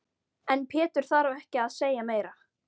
En Pétur þarf ekki að segja meira.